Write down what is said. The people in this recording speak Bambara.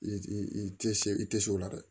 I i tɛ se i tɛ se o la dɛ